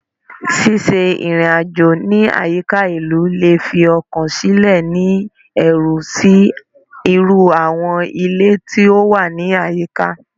Ṣiṣe irin-ajo ni ayika ilu le fi ọkan silẹ ni ẹru si iru awọn ile ti o wa ni ayika